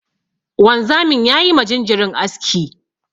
Wanzamin ya yi ma jinjirin aski.